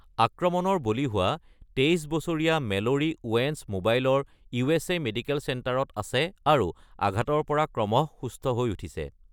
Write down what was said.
আক্ৰমণৰ বলি হোৱা ২৩ বছৰীয়া মেলোৰী ওৱেন্স মোবাইলৰ ইউ.এছ.এ. মেডিকেল চেণ্টাৰত আছে আৰু আঘাতৰ পৰা ক্ৰমশঃ সুস্থ হৈ উঠিছে।